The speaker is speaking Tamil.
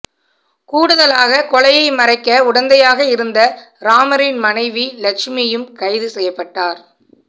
கூடுதலாக கொலையை மறைக்க உடந்தையாக இருந்த ராமரின் மனைவி லட்சுமியும் கைது செய்யப்பட்டார்